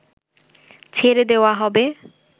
ছেড়ে দেওয়া হবে